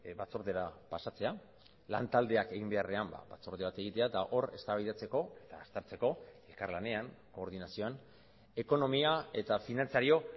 batzordera pasatzea lan taldeak egin beharrean batzorde bat egitea eta hor eztabaidatzeko eta aztertzeko elkarlanean koordinazioan ekonomia eta finantzario